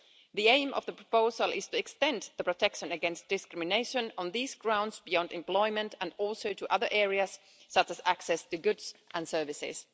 The aim of the proposal is to extend the protection against discrimination on these grounds beyond employment and also to other areas such as access to goods and services.